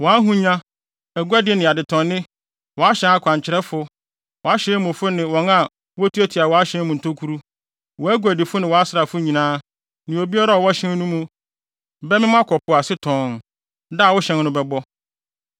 Wʼahonya, aguade ne adetɔnnne wʼahyɛn akwankyerɛfo, wʼahyɛn mufo ne wɔn a wotuatua wʼahyɛn mu ntokuru, wʼaguadifo ne wʼasraafo nyinaa, ne obiara a ɔwɔ hyɛn no mu bɛmem akɔ po ase tɔnn, da a wo hyɛn no bɛbɔ.